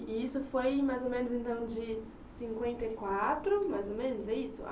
E isso foi mais ou menos então de cinquenta e quatro, mais ou menos, é isso?